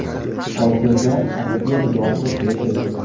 Hozirda aktyor yolg‘iz yashaydi.